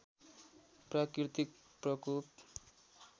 प्राकृतिक प्रकोप